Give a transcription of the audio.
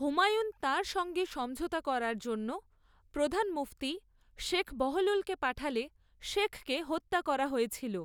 হুমায়ুন তাঁর সঙ্গে সমঝোতা করার জন্য প্রধান মুফতি শেখ বহলুলকে পাঠালে শেখকে হত্যা করা হয়েছিল।